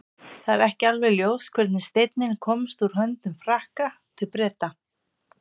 það er ekki alveg ljóst hvernig steinninn komst úr höndum frakka til breta